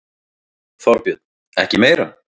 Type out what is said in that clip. Þorbjörn: Ekki meira?